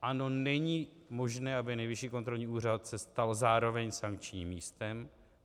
Ano, není možné, aby Nejvyšší kontrolní úřad se stal zároveň sankčním místem.